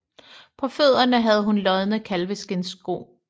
På fødderne havde hun lodne kalveskindssko